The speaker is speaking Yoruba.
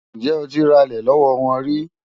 Ǹjẹ́ o ti ralẹ̀ lọ́wọ́ wọn rí?